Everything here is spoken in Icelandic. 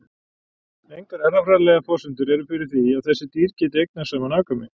Engar erfðafræðilegar forsendur eru fyrir því að þessi dýr geti eignast saman afkvæmi.